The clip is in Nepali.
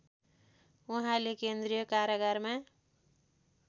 उहाँले केन्द्रीय कारागारमा